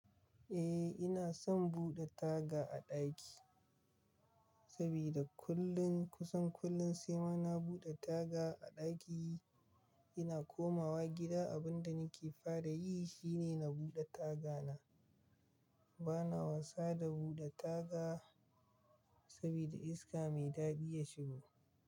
Eh ina son buɗe taga a ɗaki sabida kullum kusan kullum sai ma na buɗe taga a ɗaki. Ina komawa gida abinda nake fara yi shine na buɗe tagana. Bana wasa da buɗe taga sabida iska mai daɗi ya shigo.